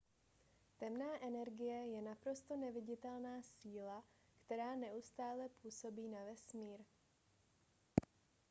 temná energie je naprosto neviditelná síla která neustále působí na vesmír